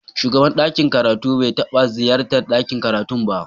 Shugaban ɗakin karatu bai taɓa ziyartar ɗakin karatu ba.